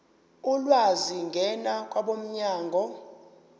ulwazi ngena kwabomnyango